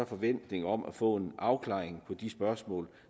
forventning om at få en afklaring af de spørgsmål